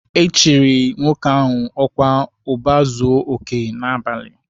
E chiri nwoke ahụ ọkwa Ụba Zuo Oke n'abalị.